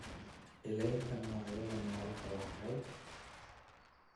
Ilaalinta noocyada noolaha waxay